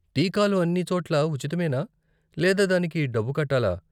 టీకాలు అన్ని చోట్లా ఉచితమేనా, లేదా దానికి డబ్బు కట్టాలా?